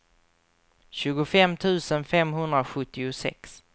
tjugofem tusen femhundrasjuttiosex